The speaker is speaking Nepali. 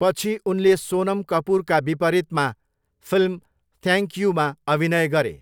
पछि उनले सोनम कपुरका विपरीतमा फिल्म 'थ्याङ्क यु'मा अभिनय गरे।